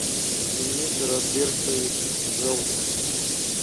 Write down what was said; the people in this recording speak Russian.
денис робертович желтов